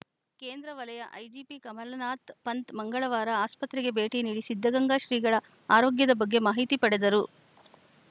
ಕೇಂದ್ರ ವಲಯ ಐಜಿಪಿ ಕಮಲನಾಥ್‌ ಪಂತ್‌ ಮಂಗಳವಾರ ಆಸ್ಪತ್ರೆಗೆ ಭೇಟಿ ನೀಡಿ ಸಿದ್ಧಗಂಗಾ ಶ್ರೀಗಳ ಆರೋಗ್ಯದ ಬಗ್ಗೆ ಮಾಹಿತಿ ಪಡೆದರು